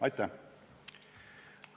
Aitäh!